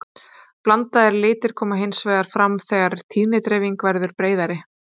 Blandaðir litir koma hins vegar fram þegar tíðnidreifingin verður breiðari.